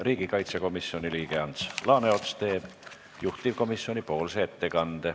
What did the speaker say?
Riigikaitsekomisjoni liige Ants Laaneots teeb juhtivkomisjoni ettekande.